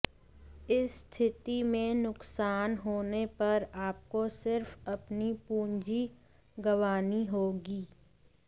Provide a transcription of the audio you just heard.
इस स्थिति में नुकसान होने पर आपको सिर्फ अपनी पूंजी गंवानी होगी